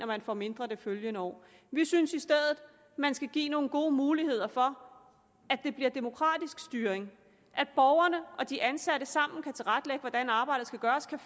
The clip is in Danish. man får mindre det følgende år vi synes i stedet man skal give nogle gode muligheder for at det bliver en demokratisk styring at borgerne og de ansatte sammen kan tilrettelægge hvordan arbejdet skal gøres og